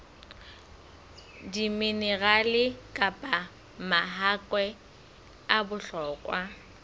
diminerale kapa mahakwe a bohlokwa